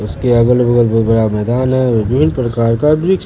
उसके अगल बगल में बड़ा मैदान है। विभिन्न प्रकार का वृक्ष--